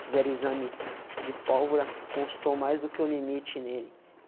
Fizeram exame de pólvora, constou mais do que o limite nele.